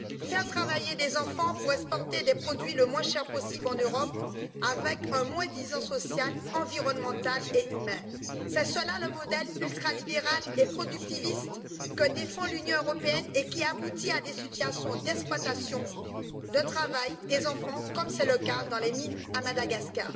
Faire travailler des enfants pour exporter des produits les moins chers possible en Europe, avec un moins disant social, environnemental et humain c'est cela le modèle ultralibéral et productiviste que défend l'Union européenne et qui aboutit à des situations d'exploitation du travail des enfants, comme c'est le cas dans les mines à Madagascar.